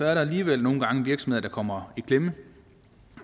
er der alligevel virksomheder kommer i klemme